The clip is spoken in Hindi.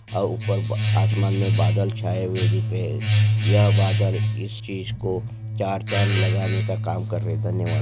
और ऊपर आसमान मैं बादल छाए हुए दिख रहे है यह बादल इस चीज़ को चार चाँद लगाने का काम कर रहे है धन्यवाद।